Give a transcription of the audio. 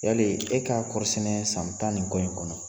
Yali e ka kɔɔrisɛnɛ san tan ni kɔ in kɔnɔ